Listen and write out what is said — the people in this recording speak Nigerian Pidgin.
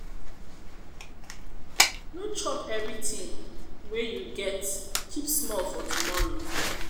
no chop everything wey you get keep small for tomorrow.